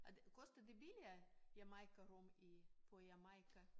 Er det koster det billigere Jamaica rom i på Jamaica